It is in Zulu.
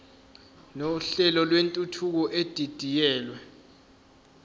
nohlelo lwentuthuko edidiyelwe